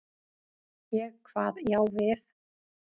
Ég kvað já við.